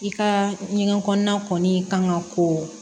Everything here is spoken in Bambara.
I ka ɲɛgɛn kɔnɔna kɔni kan ka ko